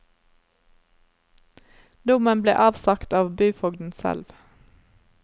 Dommen ble avsagt av byfogden selv.